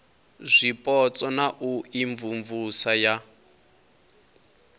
zwipotso na u imvumvusa ya